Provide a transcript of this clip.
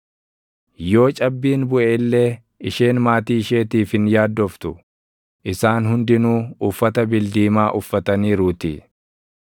Yoo cabbiin buʼe illee isheen maatii isheetiif hin yaaddoftu; isaan hundinuu uffata bildiimaa uffataniiruutii.